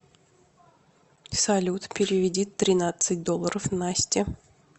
салют переведи тринадцать долларов насте